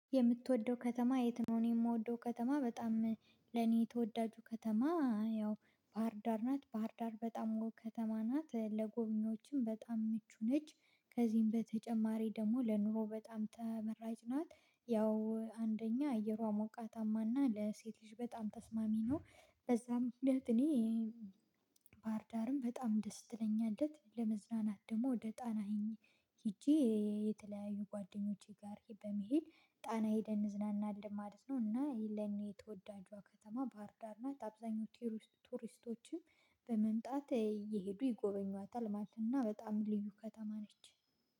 የምትወደው ከተማ የት ነው? እኔ የምወደው ከተማ በጣም ለኔ የተወዳጁ ከተማ ያው ባህርዳር ናት። ባህርዳር በጣም ውብ ከተማ ናት። ለጎብኝዎችም በጣም ምቹ ነች። ከዚህም በተጨማሪ ደግሞ ለኑሮ በጣም ተመራጭ ናት። ያው አንደኛ አየሯ ሞቃታማና ለሴት ልጅ በጣም ተስማሚ ነው። በዛ ምክንያት እኔ ባህርዳር በጣም ደስ ትለኛለች። ለመዝናናት ደግሞ ወደ ጣና ሂጄ የተለያዩ ጓደኞቼ ጋር በመሄድ ጣና ሄደን እንዝናናለን ማለት ነው። እና ይሄ ለኔ የተወዳጇ ከተማ ባህርዳር ናት አብዛኛው ቱሪስቶችም በመምጣት እየሄዱ ይጎበኟታል ማለት እና በጣም ልዩ ከተማ ነች